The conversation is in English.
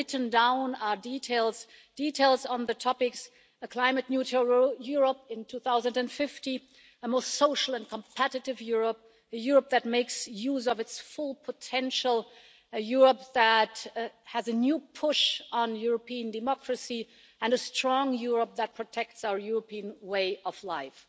so written down are details on the topics a climate neutral Europe in 2050, a more social and competitive Europe, a Europe that makes use of its full potential, a Europe that has a new push on European democracy and a strong Europe that protects our European way of life.